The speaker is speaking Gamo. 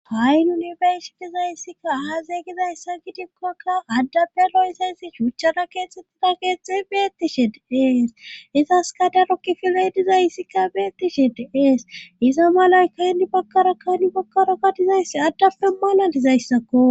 Ha'i nunibersi dizayyssikka ahazeygizays san gidikkokka addabe lo isayssi shuuchchara keexxettira keexxet beettishi diees izas kadarokki filay dizayssikka beettishi diees iza malay kaynni bakara kaynni bakkarakadizayssi addappe malalizayssakko.